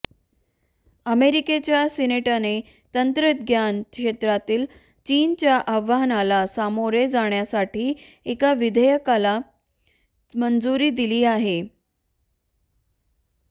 अमेरिकेच्या सिनेटने तंत्रज्ञान क्षेत्रातील चीनच्या आव्हानाला सामोरे जाण्यासाठी एका विधेयकाला मंजुरी दिली आहे